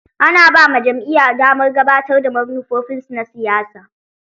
Ana ba ma jam'iya damar gabatar da manufofin su na siyasa.